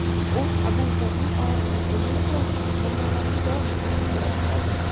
U odamzodning og‘irini yengil qiluvchi, muammolariga javob topuvchi vositadir.